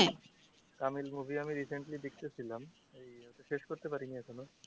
তামি movie আমি recently দেখেছিলাম এই শেষ করতে পারিনি এখনও।